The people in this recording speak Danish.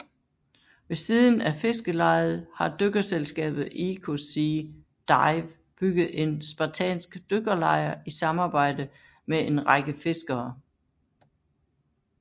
Ved siden af fiskelejet har dykkerselskabet EcoSea Dive bygget en spartansk dykkerlejr i samarbejde med en række fiskere